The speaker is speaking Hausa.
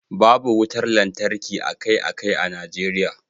babu wutar lantarki akai-akai a Najeriya